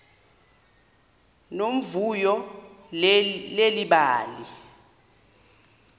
nomvuyo leli bali